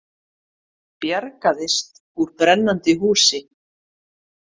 Bjargaðist úr brennandi húsi